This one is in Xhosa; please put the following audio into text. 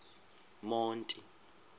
monti